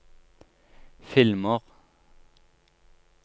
filmer